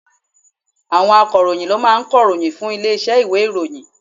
Àwọn akọ̀ròyìn ló máa ń kọ̀ròyìn fún ilé iṣẹ́ ìwé ìròyìn.